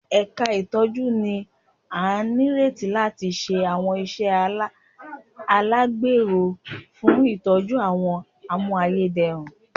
Ẹ̀ka ìtọ́jú ni a nírètí láti ṣe àwọn iṣẹ́ alagbero fún ìtọ́jú àwọn a mú ayédèrú